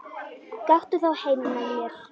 Gakktu þá heim með mér.